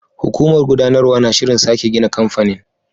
Hukumar gudanarwa na shirin sake gina kamfanin.